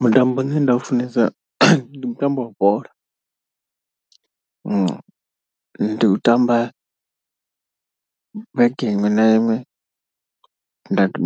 Mutambo une nda u funesa ndi mutambo wa bola. Ndi u tamba vhege iṅwe na iṅwe